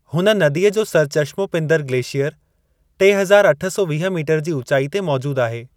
हुन नदीअ जो सरचश्मो पिंदर ग्लेशीयर टे हज़ार अठ सौ वीह मीटरु जी ऊचाई ते मौजूदु आहे।